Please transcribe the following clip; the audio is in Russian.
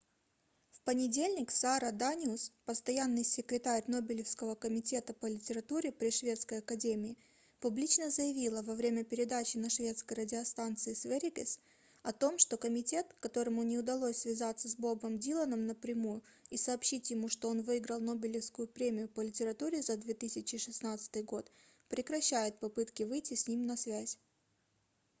в понедельник сара даниус постоянный секретарь нобелевского комитета по литературе при шведской академии публично заявила во время передачи на шведской радиостанции sveriges о том что комитет которому не удалось связаться с бобом диланом напрямую и сообщить ему что он выиграл нобелевскую премию по литературе за 2016 год прекращает попытки выйти с ним на связь